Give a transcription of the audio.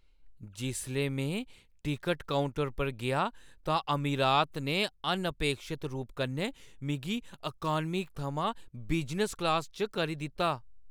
जिसलै में ticket counter पर गेआ तां अमीरात ने अनअपेक्षत रूप कन्नै मिगी इकानमी थमां बिजनस क्लास च करी दित्ता।